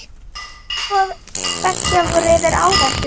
Tilboð beggja voru yfir áætlun.